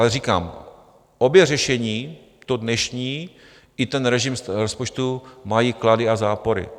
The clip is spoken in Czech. Ale říkám, obě řešení, to dnešní i ten režim rozpočtu, mají klady a zápory.